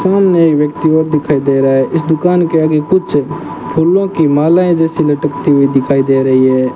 सामने एक व्यक्ति और दिखाई दे रहा है इस दुकान के आगे कुछ फूलों की मालाएं जैसी लटकती हुई दिखाई दे रही है।